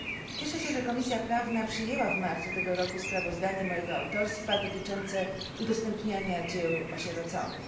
Cieszę się, że Komisja Prawna przyjęła w marcu tego roku sprawozdanie mojego autorstwa dotyczące udostępniania dzieł osieroconych.